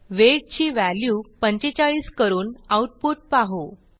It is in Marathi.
वेट ची व्हॅल्यू 45 करून आऊटपुट पाहू